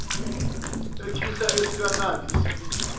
ekhihla esikanandi isililo